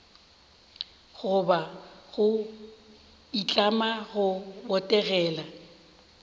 goba go itlama go botegela